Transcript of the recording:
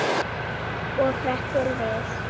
Og hrekkur við.